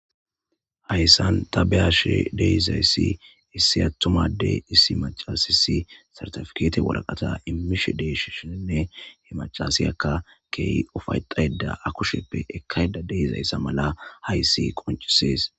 hayssan tabeyashe deiizayssi issi attumade issi macasisi sartifkeete woraqata imishe deshishenne hemacasiyakka key ufayxayda akusheppe ekkayda deizayssa mala hayssi qoncisees